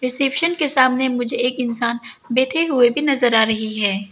Reception के सामने मुझे एक इंसान बैठे हुए भी नजर आ रही है।